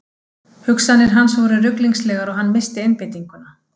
Hugsanir hans voru ruglingslegar og hann missti einbeitninguna.